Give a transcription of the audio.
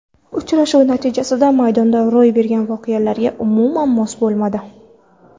Uchrashuv natijasi maydonda ro‘y bergan voqealarga umuman mos bo‘lmadi.